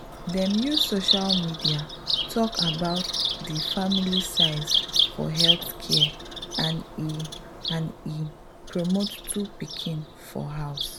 dem use social media talk abt de family size for healthcare and e and e promote two pikin for house.